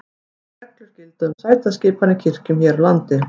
Engar reglur gilda um sætaskipan í kirkjum hér á landi.